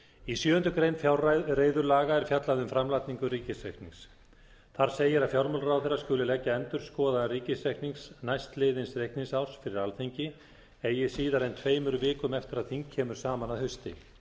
í sjöundu greinar fjárreiðulaga er fjallað um framlagningu ríkisreiknings þar segir að fjármálaráðherra skuli leggja endurskoðaðan ríkisreikning næstliðins reikningsárs fyrir alþingi eigi síðar en tveimur vikum eftir að þing kemur saman að hausti